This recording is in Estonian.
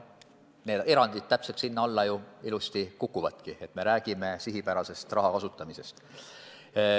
Need erandid täpselt sinna alla ju ilusasti kukuvadki, me räägime sihipärasest raha kasutamisest.